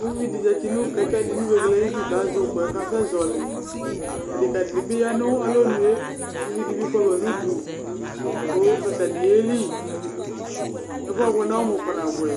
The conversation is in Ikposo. ʋʋɩdɩ zati nʋ kɛkɛ ayʋ ɩdʋ kʋ azɛ ʋkʋ yɛ kasɛzɔlɩ, adeka dɩnɩ bi yanʋ alɔnʋe, ʋvɩdɩ bɩ fʋama nʋ ʋdʋ kʋ atanɩ yeli ɛfʋɛ abʋɛ nʋ ɔmʋ kpana bʋɛ